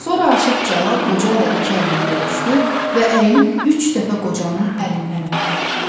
Sonra Aşıq Cəlal qocayla iki əlli görüşdü və əyilib üç dəfə qocanın əlindən öpdü.